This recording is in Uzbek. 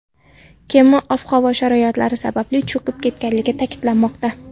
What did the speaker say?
Kema ob-havo sharoitlari sababli cho‘kib ketganligi ta’kidlanmoqda.